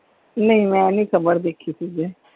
ਨਹੀਂ ਮੈ ਨੀ ਖਬਰ ਦੇਖੀ ਸੀ ਜੇ।